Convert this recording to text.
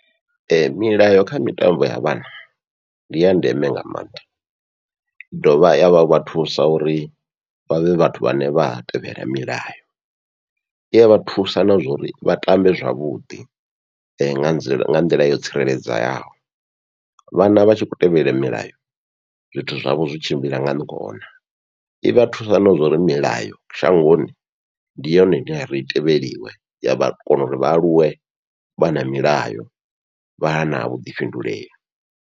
Ee, milayo kha mitambo ya vhana ndi ya ndeme nga maanḓa, i dovha yavha thusa uri vha vhe vhathu vhane vha tevhela milayo i yavha thusa na zwauri vha tambe zwavhuḓi nga nḓila yo tsireledzeaho, vhana vha tshi kho tevhelela milayo zwithu zwavho zwi tshimbila nga ngona ivha thusa na zwauri milayo shangoni ndi yone ine yari i tevheliwe yavha kona uri vha aluwe vha na milayo vha na vhuḓifhinduleli.